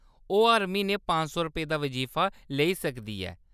ओह्‌‌ हर म्हीनै पंज सौ रपेऽ दा बजीफा लेई सकदी ऐ।